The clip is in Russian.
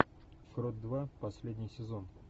крот два последний сезон